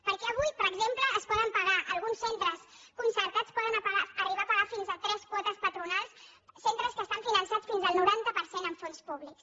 perquè avui per exemple alguns centres concertats poden arribar a pagar fins a tres quotes patronals centres que estan finançats fins al noranta per cent amb fons públics